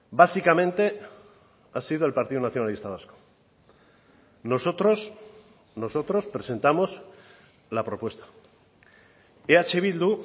básicamente ha sido el partido nacionalista vasco nosotros nosotros presentamos la propuesta eh bildu